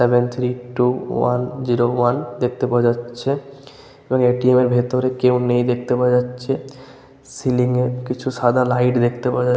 Seven three two one zero one দেখতে পাওয়া যাচ্ছে এবং এ.টি.এম. -এর ভেতরে কেউ নেই দেখতে পাওয়া যাচ্ছে। সিলিং -এর কিছু সাদা লাইট দেখতে পাওয়া--